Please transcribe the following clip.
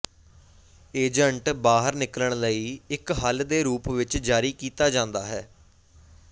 agent ਬਾਹਰ ਨਿਕਲਣ ਲਈ ਇੱਕ ਹੱਲ ਦੇ ਰੂਪ ਵਿੱਚ ਜਾਰੀ ਕੀਤਾ ਜਾਂਦਾ ਹੈ